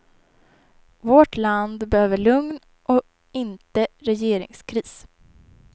Vårt land behöver lugn och inte regeringskris.